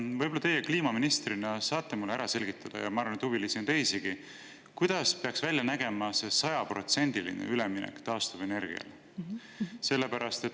Võib-olla teie kliimaministrina saate mulle ära selgitada, ja ma arvan, et huvilisi on teisigi: kuidas peaks välja nägema see sajaprotsendiline üleminek taastuvenergiale?